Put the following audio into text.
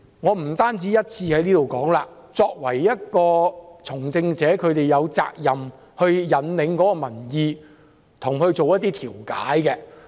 我不止一次在這裏說，作為從政者，反對派議員有責任引領民意，並作出調解。